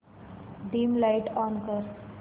dim light on कर